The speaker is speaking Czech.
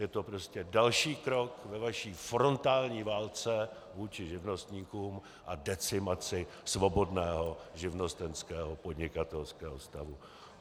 Je to prostě další krok ve vaší frontální válce vůči živnostníkům a decimaci svobodného živnostenského podnikatelského stavu.